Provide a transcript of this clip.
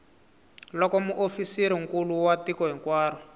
loko muofisirinkulu wa tiko hinkwaro